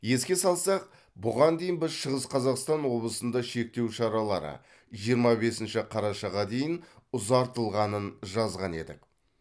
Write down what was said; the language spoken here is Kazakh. еске салсақ бұған дейін біз шығыс қазақстан облысында шектеу шаралары жиырма бесінші қарашаға дейін ұзартылғанын жазған едік